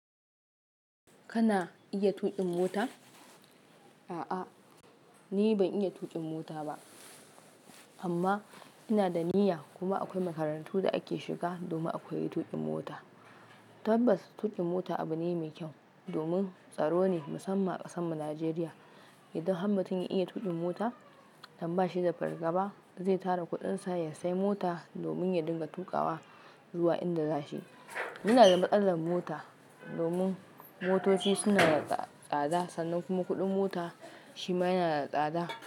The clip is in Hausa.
Kana iya tuƙin mota? A'a, ni ban iya tuƙin mota ba, amma ina da niyya. Kuma akwai makarantun da ake shiga domin akwai tuƙin mota. Tabbas, tuƙin mota abu ne mai kyau, domin tsaro ne musamman a ƙasanmu, Najeriya. Idan ham mutum iya tuƙin mota, idan bashi da fargaba zai tara kuɗinsa ya sai mota domin ya dinga tuƙawa zuwa inda za shi. Ina da matsalar mota, domin motoci suna da tsada, sannan kuma kuɗin mota shima yana da tsada.